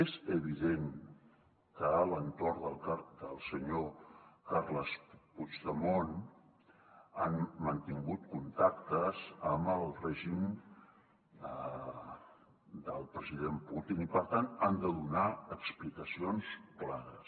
és evident que l’entorn del senyor carles puigdemont ha mantingut contactes amb el règim del president putin i per tant ha de donar explicacions clares